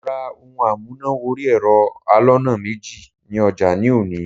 Mo ra ohun amúnà wọrí ẹ̀rọ aloná méjì ní ọjà ní òní.